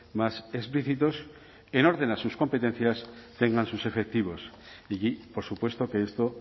más explícitos en orden a sus competencias tengan sus efectivos y por supuesto que esto